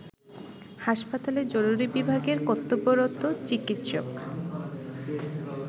হাসপাতালের জরুরি বিভাগের কর্তব্যরত চিকিৎসক